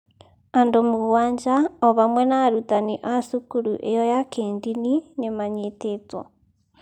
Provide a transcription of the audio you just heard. Andũ mũgwanja, o hamwe na arutani a cukuru ĩyo ya kĩĩndini, nĩ maanyitĩtwo.